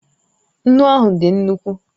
Nnu ahụ dị nnukwu